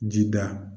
Ji da